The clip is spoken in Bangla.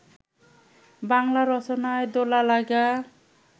বাঙলা রচনায় দোলা-লাগা